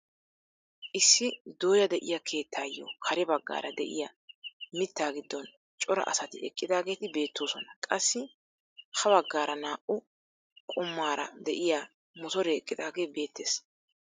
Issi dooya de'iyaa keettaayo kare baggaara de'iyaa mittaa giddon cora asati eqqidaageti beettoosona. qassi ha baggaara naa"u goomaara de'iyaa motoree eqqidaagee beettees.